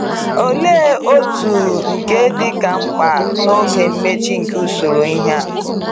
Òlee otú nke dịka mkpa n’oge mmechi nke usoro ihe a!